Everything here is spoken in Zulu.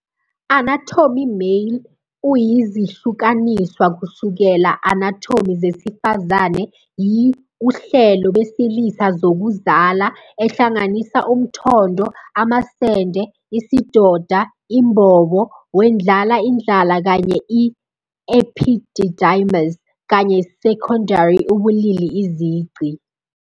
Anatomy Male is zihlukaniswa kusukela anatomy zesifazane yi uhlelo besilisa zokuzala, ehlanganisa umthondo, amasende, isidoda imbobo, wendlala indlala kanye epididymis, kanye seconday ubulili izici.